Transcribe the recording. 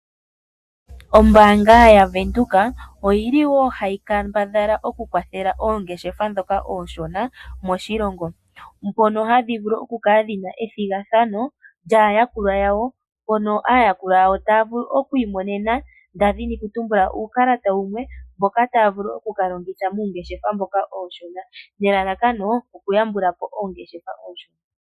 Ombaanga yaVenduka oyi li woo hayi kambadhala okukwathela oongeshefa ndhoka oonshona moshilongo, mpono hadhi vulu okukala dhi na ethigathano lyaayakulwa yawo mpono aayakulwa yawo taya vulu oku imonena nda dhini okutumbula uukalata wumwe mboka taya vulu oku ka longitha muungeshefa mboka uushona nelalakano okuyambula po oongeshefa oonshona.